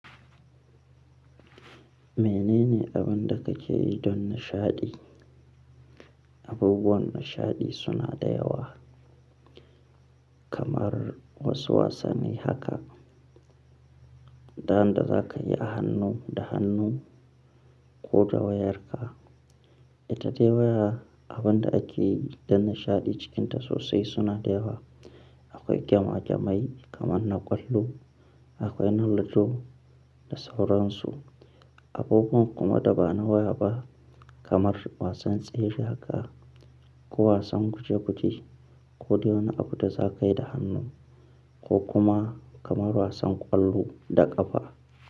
Menene abin da ka ke yi don nishaɗi? Abubuwan nishaɗi suna da yawa kamar wasu wasanni haka, dan da za ka yi a hannu da hannu ko da wayarka. Ita dai waya abin da ake yi don nishaɗi cikin ta sosai suna da yawa. Akwai gema-gemai kamar na ƙwallo, akwai na ludo da sauran su. Abubuwan kuma da ba na waya ba kamar wasan tsere haka ko wasan guje-guje ko dai wani abu da za ka yi da hannu ko kuma kamar wasan ƙwallo da ƙafa.